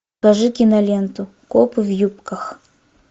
покажи киноленту копы в юбках